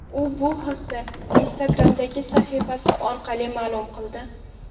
U bu haqda Instagram’dagi sahifasi orqali ma’lum qildi.